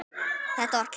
Þetta var klárt.